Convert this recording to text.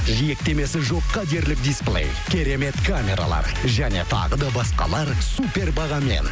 жиектемесі жоққа дерлік дисплей керемет камералар және тағы да басқалар супер бағамен